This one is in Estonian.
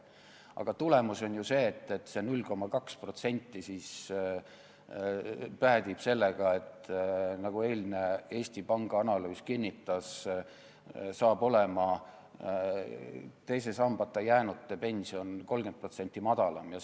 Aga tulemus on ju see, et see 0,2% päädib sellega, nagu eilne Eesti Panga analüüs kinnitas, et teise sambata jäänute pension on 30% madalam.